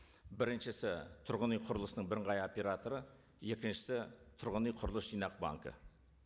біріншісі тұрғын үй құрылысының бірыңғай операторы екіншісі тұрғын үй құрылыс жинақ банкі